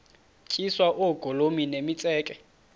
tyiswa oogolomi nemitseke